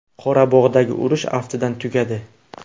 Qorabog‘dagi urush, aftidan, tugadi.